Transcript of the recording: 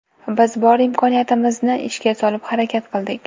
Biz bor imkoniyatimizni ishga solib harakat qildik.